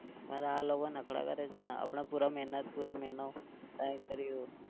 પર આ લોકો નખરા કરે છે ને આપણે પુરા મહેનત પુરા મહિનો કામ કર્યુ.